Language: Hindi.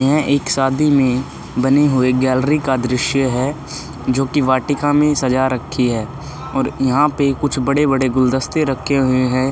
यह एक शादी में बनी हुई गैलरी का दृश्य है जो कि वाटिका में सजा रखी है और यहाँ पे कुछ बड़े-बड़े गुलदस्ते रखे हुए हैं।